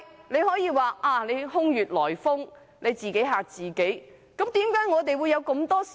你可以說這是空穴來風，自己嚇自己，但我們真的有無數疑問。